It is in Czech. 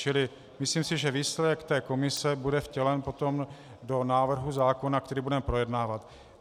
Čili myslím si, že výsledek té komise bude vtělen potom do návrhu zákona, který budeme projednávat.